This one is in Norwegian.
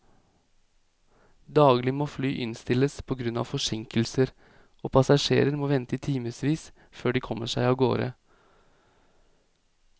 Daglig må fly innstilles på grunn av forsinkelser, og passasjerer må vente i timevis før de kommer seg av gårde.